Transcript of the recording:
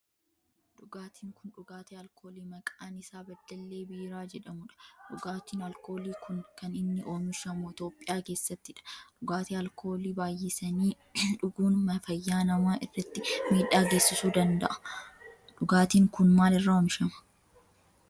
Dhugaatin kun dhugaatii alkoolii maqaan isaa beddellee biiraa jedhamudha. Dhugaatin alkoolii kun kan inni oomishamu Itiyoophiyaa keessattidha. Dhugaatii alkoolii baayyisanii dhuguun fayyaa nama irratti miidhaa geessisuu danda'a. Dhugaatin kun maal irraa oomishama?